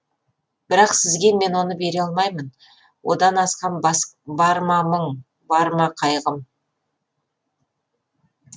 бірақ сізге мен оны бере алмаймын одан асқан бар ма мұң бар ма қайғым